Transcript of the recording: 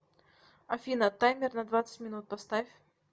афина таймер на двадцать минут поставь